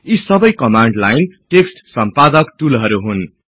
यी सबै command line text सम्पादक टुलहरु हुन